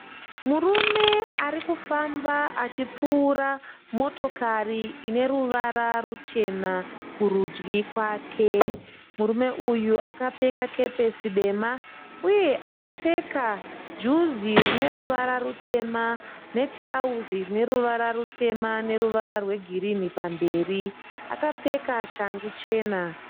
Murume arikufamba achipfuura motokari ine ruwara ruchena kurudyi kwake. Murume uyu akapfeka kepesi dema uye akapfeka juzi rine ruvara rutema netirauzi rine ruvara rutema neruwara rwe girini pamberi akapfeka shangu chena.